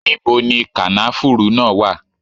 Níbo ni kànáfùrú náà wà?